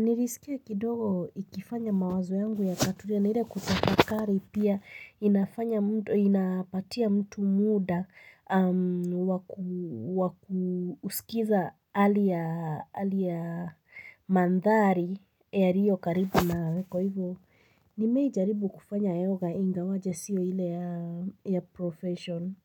Nilisikia kidogo ikifanya mawazo yangu yakatulia na ile kutafakari pia inafanya mtu, inapatia mtu muda wa kusikiza hali ya maandhari yalio karibu nawe kwa hivyo. Nimewahi jaribu kufanya yoga ingawaje sio ile ya profession.